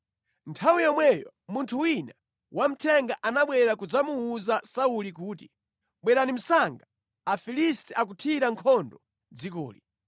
Nthawi yomweyo munthu wina wamthenga anabwera kudzamuwuza Sauli kuti, “Bwerani msanga! Afilisti akuthira nkhondo dzikoli.”